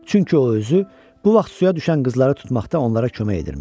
Çünki o özü bu vaxt suya düşən qızları tutmaqda onlara kömək edirmiş.